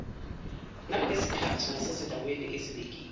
nangezikhathi nasezindaweni ezibekiwe